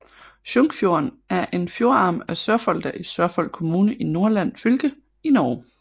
Sjunkfjorden er en fjordarm af Sørfolda i Sørfold kommune i Nordland fylke i Norge